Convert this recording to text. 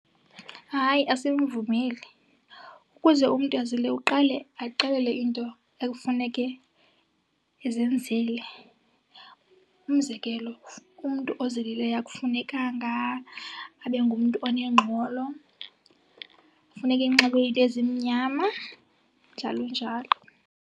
Hayi, asimvumeli. Ukuze umntu azile uqale axelele into ekufuneke ezenzile. Umzekelo, umntu ozilileyo akufunekanga abe ngumntu onengxolo, funeke enxibe iinto ezimnyama, njalo njalo.